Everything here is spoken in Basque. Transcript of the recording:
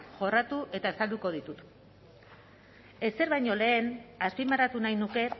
jorratu eta azalduko ditut ezer baino lehen azpimarratu nahi nuke